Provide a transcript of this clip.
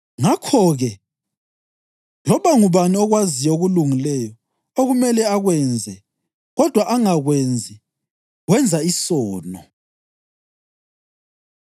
Ngakho-ke, loba ngubani okwaziyo okulungileyo okumele akwenze kodwa angakwenzi, wenza isono.